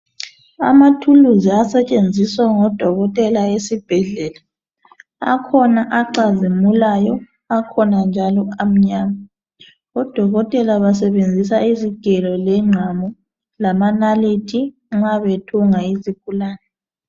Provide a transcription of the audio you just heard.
Ama tools asetshenziswa ngodokotela esibhedlela akhona acazimilayo akhona njalo amnyama odokotela basebenzisa izigelo lengqamu lamanalithi nxa bethunga izigulane.